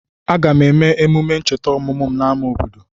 Aga m eme emume ncheta ọmụmụ m n'ámá obodo.